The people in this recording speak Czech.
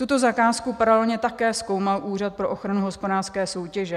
Tuto zakázku paralelně také zkoumal Úřad pro ochranu hospodářské soutěže.